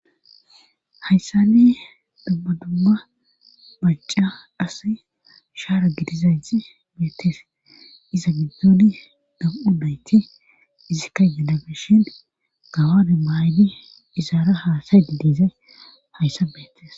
Hayssani dummadumma baca as shaara gidizaythi beettes iza giddoni dam7u nayti izikka yedageshin gabame maaybi izaara haasay di diza hayssa beettes